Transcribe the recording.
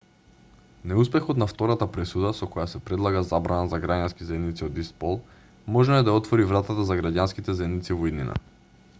неуспехот на втората пресуда со која се предлага забрана за граѓански заедници од ист пол можно е да ја отвори вратата за граѓанските заедници во иднина